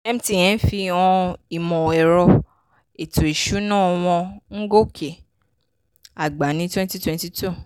mtn fi hàn ìmọ̀-ẹ̀rọ-ètò-ìsúná wọn ń gòkè àgbà ní twenty twenty two.